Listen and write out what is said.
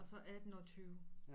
Og så 18 og 20